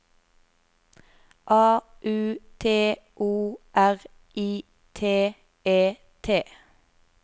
A U T O R I T E T